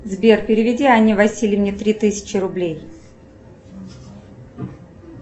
сбер переведи анне васильевне три тысячи рублей